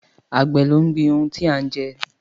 Àgbẹ̀ ló ń gbin ohùn tí a ń jẹ